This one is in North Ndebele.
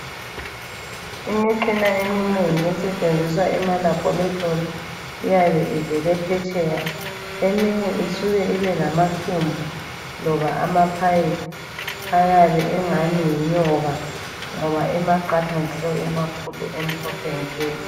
Imitshina eminengi esetshenziswa ema-Laboretory iyabe ivele phetsheya. Eminye isuke ibe lamathumbu loba amaphayiphi ayabe engani yinyoka ngoba emaqatha njalo emakhulu amhlophe nke.